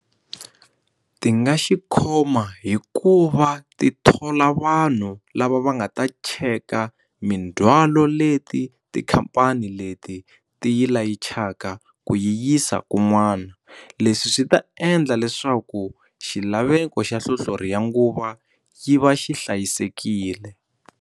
Ti nga xi khoma hikuva ti thola vanhu lava va nga ta cheka mindzwalo leti tikhampani leti ti yi layichaka ku yi yisa kun'wana leswi swi ta endla leswaku xilaveko xa hlohlori ya nguva yi va xi hlayisekile.